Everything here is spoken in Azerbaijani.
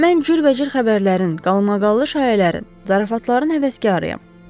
Mən cürbəcür xəbərlərin, qalmaqallı şayiələrin, zarafatların həvəskarıyam.